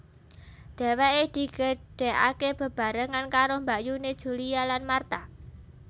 Dhèwèké digedhèkaké bebarengan karo mbakyuné Julia lan Martha